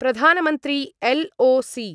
Pradhan Mantri LOC.